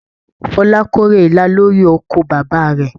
Fola k'ore ilá lori oko bàbá rẹ.